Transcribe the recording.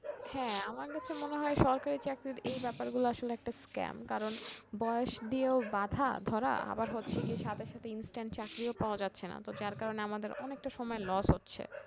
হ্যা আমার কাছে মনে হয় সরকারি চাকরির এই ব্যাপার গুলা আসলে একটা scam কারণ বয়স দিয়েও বাঁধা ধরা আবার হচ্ছে কি সাথে সাথে instant চাকরিও পাওয়া যাচ্ছে না তো যার কারণে আমাদের অনেকটা সময় loss হচ্ছে